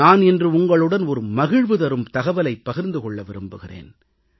நான் இன்று உங்களுடன் ஒரு மகிழ்வு தரும் தகவலைப் பகிர்ந்து கொள்ள விரும்புகிறேன்